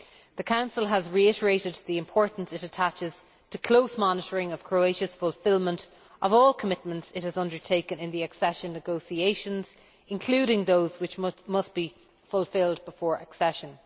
The Council has reiterated the importance it attaches to close monitoring of Croatia's fulfilment of all the commitments it has undertaken in the accession negotiations, including those which must be fulfilled before accession.